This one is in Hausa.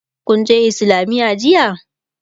kunje islamiya jiya?